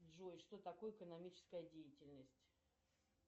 джой что такое экономическая деятельность